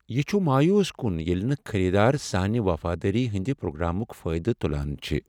یہ چھ مایوس کٗن ییٚلہ نہٕ خریٖدار سانہ وفادٲری ہندِ پروگرامٗک فٲیدٕ تٗلان چھ ۔